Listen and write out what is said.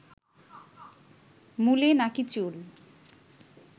মূলে নাকি চুল